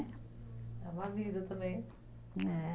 É uma vida também. É